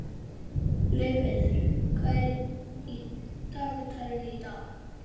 Laufheiður, hvað er í dagatalinu í dag?